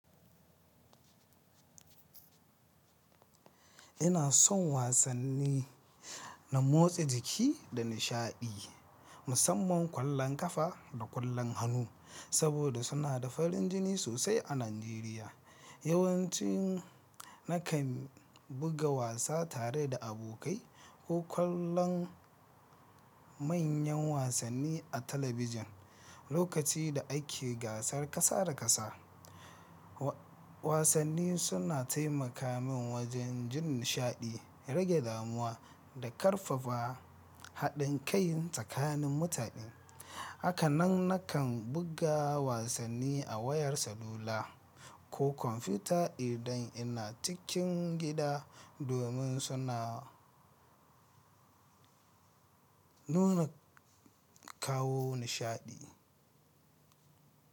Ina son wasanni na motsa jiki da nishaɗi musamman ƙwallon ƙafa da ƙwallon hannu saboda suna da farin jini sosai a Najeriya. Yawanci nakan buga wasa tare da abokai ko kallon manyan wasanni a talabijin lokacin da ake gasar ƙasa da ƙasa. Wasanni suna taimaka min wajen jin nishaɗi, rage damuwa da ƙarfafa haɗin kai tsakanin mutane. Haka nan nakan buga wasanni a wayar salula ko kwamfuta idan ina cikin gida domin suna nuna kawo nishaɗi.